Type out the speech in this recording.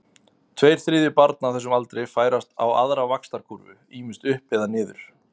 Tveir þriðju barna á þessum aldri færast á aðra vaxtarkúrfu, ýmist upp eða niður.